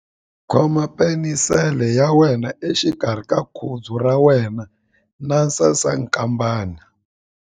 Khoma penisele ya wena exikarhi ka khudzu ra wena na sasankambana.